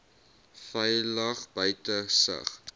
veilig buite sig